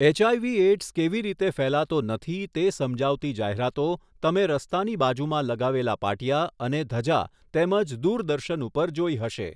HIV AIDS કેવી રીતે ફેલાતો નથી તે સમજાવતી જાહેરાતો તમે રસ્તાની બાજુમાં લગાવેલા પાટિયા અને ધજા તેમજ દૂરદર્શન ઉપર જોઈ હશે.